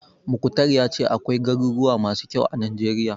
Mukhtar ya ce akwai garuruwa masu kyau a Najeriya.